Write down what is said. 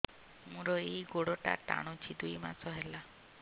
ମୋର ଏଇ ଗୋଡ଼ଟା ଟାଣୁଛି ଦୁଇ ମାସ ହେଲା